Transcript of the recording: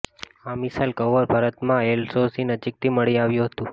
આ missile cover ભારતમાં LOC નજીકથી મળી આવ્યું હતું